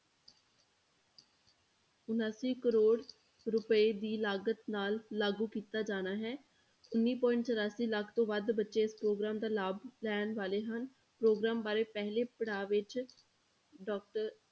ਉਣਾਸੀ ਕਰੌੜ ਰੁਪਏ ਦੀ ਲਾਗਤ ਨਾਲ ਲਾਗੂ ਕੀਤਾ ਜਾਣਾ ਹੈ, ਉੱਨੀ point ਚੁਰਾਸੀ ਲੱਖ ਤੋਂ ਵੱਧ ਬੱਚੇ ਇਸ ਪ੍ਰੋਗਰਾਮ ਦਾ ਲਾਭ ਲੈਣ ਵਾਲੇ ਹਨ, ਪ੍ਰੋਗਰਾਮ ਬਾਰੇ ਪਹਿਲੇ ਪੜਾਅ ਵਿੱਚ doctor